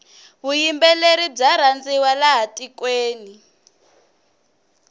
vuyimbeleri bya rhandziwa laha tikweni